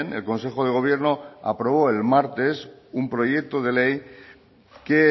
el consejo de gobierno aprobó el martes un proyecto de ley que